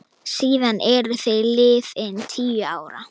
Síðan eru liðin tíu ár.